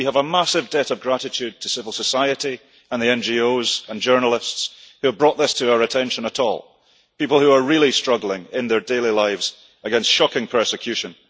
We have a massive debt of gratitude to civil society and the NGOs and journalists who brought this to our attention at all people who are really struggling in their daily lives against shocking persecution.